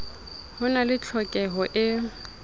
ho na le tlhokeho e